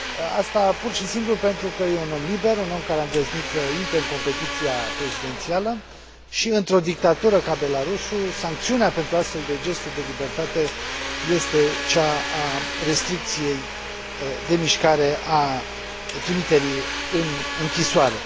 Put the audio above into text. Asta pur și simplu pentru că este un om liber, un om care a îndrăznit să intre în competiția prezidențială și, într o dictatură ca Belarusul, sancțiunea pentru astfel de gesturi de libertate este cea a restricției de mișcare, a trimiterii în închisoare.